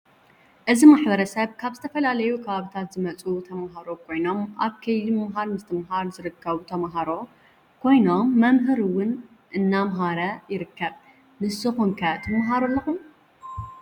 እዚ ማሕበረሰብ ካብ ዝተፈላለዮ ከባብታት ዝመፁ ተማሃሮ ኮይኖም አብ ከይዲ ምምሃር ምሰትምሃረ ዝርከቡተማሃሮ ኮይኖም መምህር ውን እናምሃራ ይርከባ ። ንሰኩም ከ ትማሃሩ አለኩም?